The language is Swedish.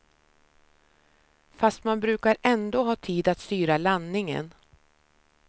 Fast man brukar ändå ha tid att styra landningen.